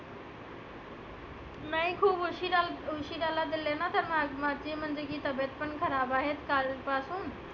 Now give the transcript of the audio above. नाही खुप उशीरा उशीराला दिले ना ती म्हणते की तबियत पण खराब आहे काल पासुन